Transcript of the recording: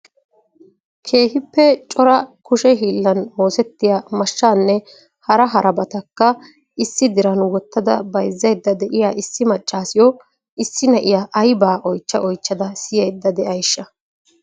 Keehippe cora kushe hiilan oosettiya mashshanne hara harabatakka issi diran wottada bayzzayda de'iya issi maccassiyo issi na'iya aybaa oychcha oychcha siyyaydda de'ayshsha?